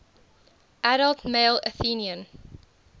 adult male athenian